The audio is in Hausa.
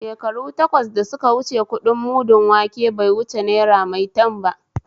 Shekaru takwas da suka wuce kuɗin mudun wanke bai wuce naira maitan ba